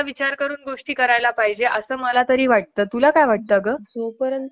आपल्यासाठी . योजना वेगैरे आणताय . पण त्या योजनांनां अमलात आणण